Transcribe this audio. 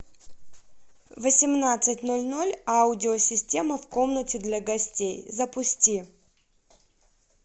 в восемнадцать ноль ноль аудио система в комнате для гостей запусти